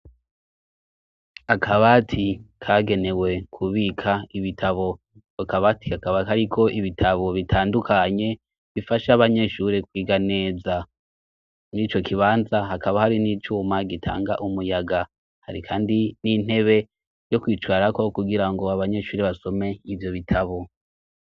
Akabati kagenewe kubika ibitabo akabati kakabaka, ariko ibitabo bitandukanye bifasha abanyeshure kwiga neza ni co kibanza hakaba hari n'icuma gitanga umuyaga hari, kandi n'intebe yo kwicwarako kugira ngo abanyeshuri basomea ivyo bitabo.